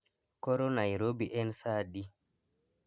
Koro nairobi en saa adi